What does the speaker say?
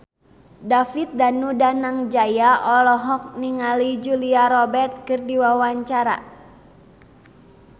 David Danu Danangjaya olohok ningali Julia Robert keur diwawancara